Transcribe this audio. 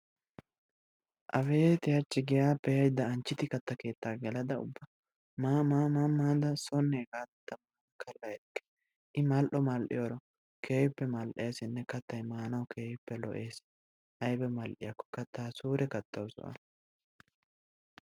Abeeti hachchi giyappe yaydda Anjjidi katta keettaa gelada ubba maa maa maada soonne hegaadan kalla erikke. I mal"o mal"iyoro, keehippe lo'eesinne mal"ees. kattaa suure kattawusu A.